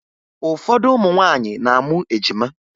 Ụfọdụ ụmụ nwaanyị na-amụ ejima